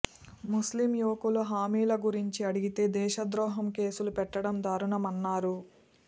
ముస్లిం యువకులు హామీల గురించి అడిగితే దేశద్రోహం కేసులు పెట్టడం దారుణమన్నారు